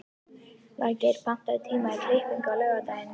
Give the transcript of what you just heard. Valgeir, pantaðu tíma í klippingu á laugardaginn.